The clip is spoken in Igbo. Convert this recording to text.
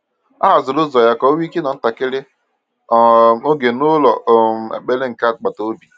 O haziri ụzọ ya ka ọ nwee ike ịnọ ntakịrị um oge n’ụlọ um ekpere nke agbata obi.